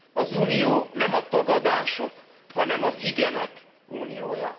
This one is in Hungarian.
Az Unió nem a tagadások, hanem az igenek uniója.